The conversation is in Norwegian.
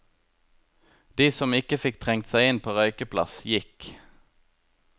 De som ikke fikk trengt seg inn på røykeplass, gikk.